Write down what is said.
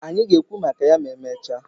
Anyị ga-ekwu maka ya ma emechaa.